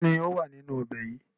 Kínní ó wà nínú ọbẹ̀ yìí?